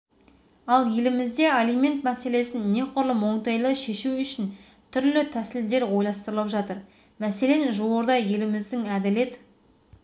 ал елімізде алимент мәселесін неқұрлым оңтайлы шешу үшін түрлі тәсілдер ойластырылып жатыр мәселен жуырда еліміздің әділет